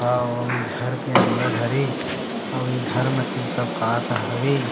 अऊ ये घर के अंदर हरे आऊ ये घर म इ सब का-का हवे।